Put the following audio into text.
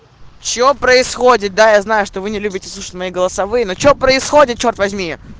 что происходит да я знаю что вы не любите слушаешь мои голосовые ну что происходит черт возьми